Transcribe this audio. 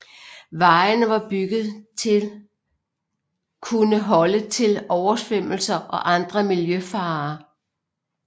Vejene var bygget til kunne holde til oversvømmelser og andre miljøfarer